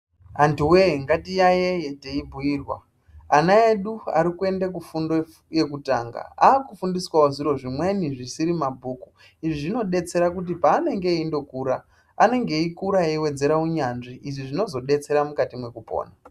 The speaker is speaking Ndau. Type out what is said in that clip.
Antu woye ngatiyayeye teibhuirwa ana edu arikuende kufundo yekutanga akufundiswavo zviro zvimweni zvisiri mabhuku. Izvi zvinodetsere kuti panenge eindokura anenge eikura eiwedzere unyanzvi izvi zvinozodetsera mukati mekupona.